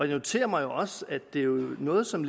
noterer mig også at det jo er noget som